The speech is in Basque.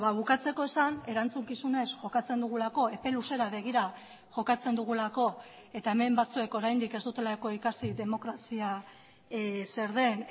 bukatzeko esan erantzukizunez jokatzen dugulako epe luzera begira jokatzen dugulako eta hemen batzuek oraindik ez dutelako ikasi demokrazia zer den